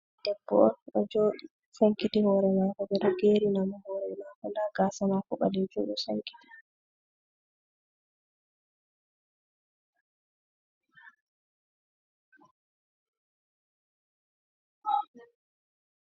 Debbo on ɗo joɗi sankiti hore mako, Ɓedo gerinamo hore mako nɗa gasa mako ɓalejum ɗo sankiti.